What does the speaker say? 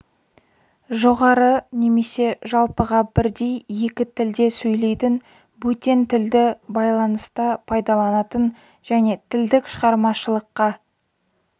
жоғары немесе жалпыға бірдей екі тілде сөйлейтін бөтен тілді байланыста пайдаланатын және тілдік шығармашылыққа